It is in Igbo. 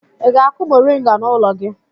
Ị ga-akụ mọrịnga n'ụlọ gị?